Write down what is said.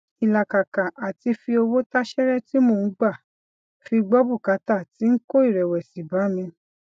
ilàkàkà àti fi owó táṣéré tí mò ń gbà fi gbó bùkátà ti n kó ìrẹwẹsì bá mi